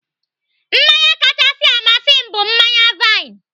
Mmanya kachasị amasị m bụ mmanya vaịn.